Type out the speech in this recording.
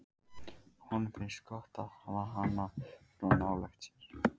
Honum finnst gott að hafa hana svona nálægt sér.